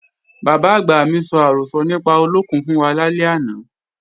Bàbá-àgbà mi sọ àrọ́sọ nípa olókùn fún wa lálẹ́ àná